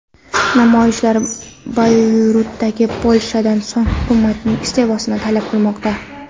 Namoyishchilar Bayrutdagi portlashdan so‘ng hukumatning iste’fosini talab qilmoqda.